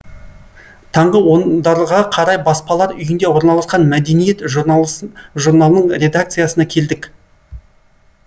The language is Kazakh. таңғы ондарға қарай баспалар үйінде орналасқан мәдениет журналының редакциясына келдік